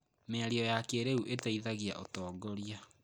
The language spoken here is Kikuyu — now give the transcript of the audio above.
Mĩario ya kĩrĩu ĩteithagia ũtongoria.